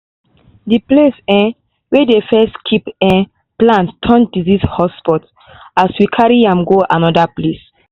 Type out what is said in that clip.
The place um where dey first keep plant turn disease hotspot as we carry am go anoda place